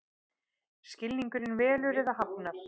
Skilningurinn velur eða hafnar.